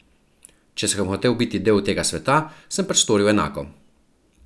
Če sem hotel biti del tega sveta, sem pač storil enako.